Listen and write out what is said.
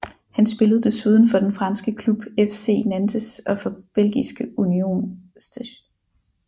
Han spillede desuden for den franske klub FC Nantes og for belgiske Union St